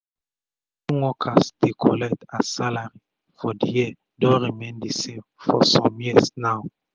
wetin worker dey collect as salary for d year don remain d same for sum tyms now